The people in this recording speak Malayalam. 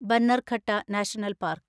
Bannerghatta national park